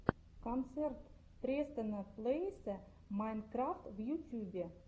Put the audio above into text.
концерт престона плэйса майнкрафт в ютьюбе